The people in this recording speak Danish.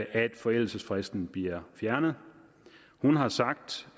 at forældelsesfristen bliver fjernet hun har sagt